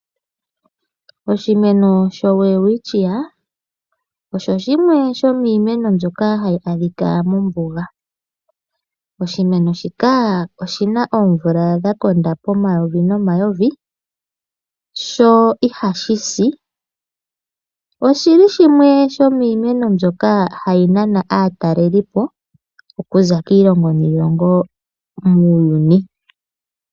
Oshimeno sho Welwistchia osho shimwe shomiimeno mbyoka hayi adhika mombuga . Oshimeno shika oshima oomvula dhakonda pomayovi nomayovi sho ihashi . Oshili shimwe shomiimeno mbyoka hayi nana aatalelipo okuza kiilongo niilongo muuyuni.